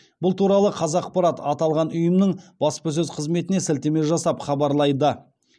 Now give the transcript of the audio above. бұл туралы қазақпарат аталған ұйымның баспасөз қызметіне сілтеме жасап хабарлайды